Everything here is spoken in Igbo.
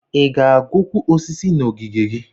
Ị ga-agụkwu osisi na ogige gị?